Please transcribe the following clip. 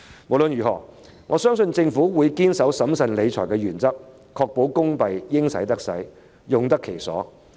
無論如何，我相信政府會堅守審慎理財的原則，確保公帑應使得使，用得其所。